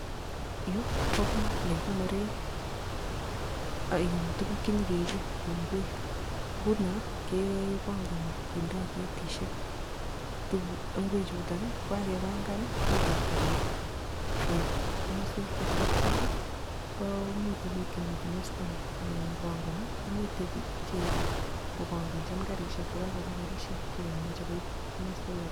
Yu ko kot nekikonore tuguk chepokeipe kou ingwek, nguno kepangani kindoi kretishek ingwechuto, ko ye kakepangan ipkoip kariit, koip masek cheterter komiei biik chemitei mastani che pangani, komitei che panganchini karishek kokakobwa karishek chekamache koip komaswek alak.